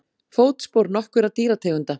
Fótspor nokkurra dýrategunda.